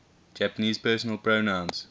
japanese personal pronouns